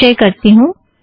संचय करती हूँ